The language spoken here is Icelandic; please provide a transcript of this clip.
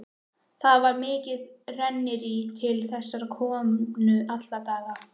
Það var mikið rennirí til þessarar konu alla daga.